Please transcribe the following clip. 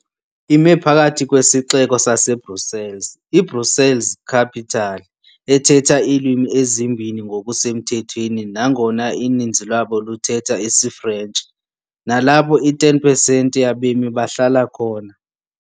Ime phakathi kwesixeko saseBrussels, iBrussels-Capital, ethetha iilwimi ezimbini ngokusemthethweni nangona uninzi lwabo luthetha isiFrentshi, nalapho i-10 pesenti yabemi bahlala khona.